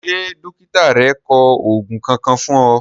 Ṣé dọ́kítà rẹ kọ òògùn Kankan fún ọ?